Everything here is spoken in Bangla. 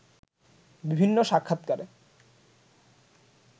বিভিন্ন সাক্ষাতকারে